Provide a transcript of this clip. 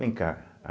Vem cá.